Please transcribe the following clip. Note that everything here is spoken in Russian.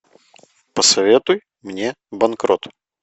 посоветуй мне банкрот